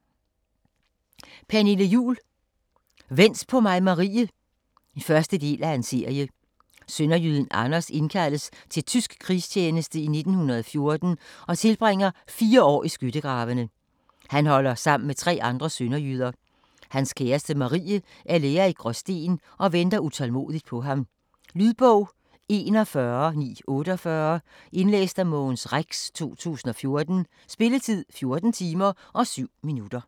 Juhl, Pernille: Vent på mig Marie 1. del af serie. Sønderjyden Anders indkaldes til tysk krigstjeneste i 1914 og tilbringer fire år i skyttegravene. Han holder sammen med tre andre sønderjyder. Hans kæreste Marie er lærer i Gråsten og venter utålmodigt på ham. . Lydbog 41948 Indlæst af Mogens Rex, 2014. Spilletid: 14 timer, 7 minutter.